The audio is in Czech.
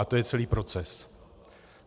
A to je celý proces.